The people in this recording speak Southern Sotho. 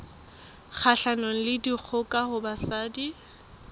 kgahlanong le dikgoka ho basadi